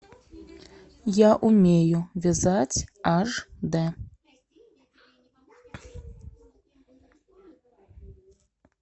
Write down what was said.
я умею вязать аш дэ